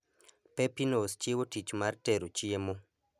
pepinos chiwo tich mar tero chiemo